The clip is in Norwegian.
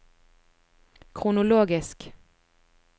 kronologisk